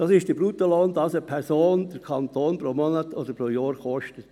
Es ist der Bruttolohn, den eine Person den Kanton pro Monat oder pro Jahr kostet.